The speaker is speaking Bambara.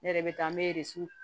Ne yɛrɛ bɛ taa n bɛ